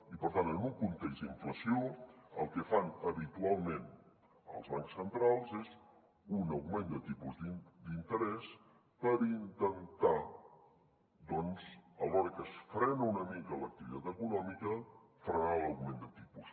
i per tant en un context d’inflació el que fan habitualment els bancs centrals és un augment de tipus d’interès per intentar doncs alhora que es frena una mica l’activitat econòmica frenar l’augment de tipus